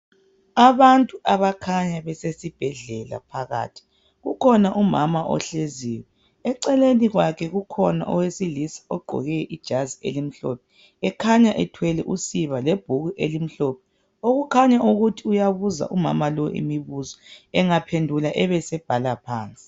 Abantu abakhanya beseibhedlela phakathi, kukhona umama ohleziyo, eceleni kwakhe kukhona owesilisa ogqoke ijazi elimhlophe ekhanya ethwele usiba lebhuku elimhlophe okukhanya ukuthi uyabuza umama lo imibuzo engaphendula ebesebhala phansi.